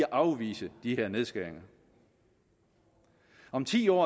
afvise de her nedskæringer om ti år